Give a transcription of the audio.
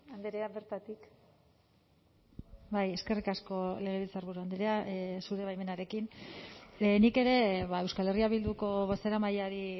andrea bertatik bai eskerrik asko legebiltzarburu andrea zure baimenarekin nik ere euskal herria bilduko bozeramaileari